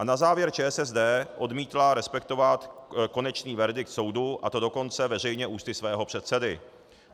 A na závěr ČSSD odmítla respektovat konečný verdikt soudu, a to dokonce veřejně ústy svého předsedy.